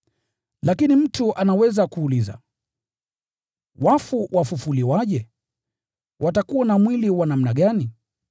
Lakini mtu anaweza kuuliza, “Wafu wafufuliwaje? Watakuwa na mwili wa namna gani?”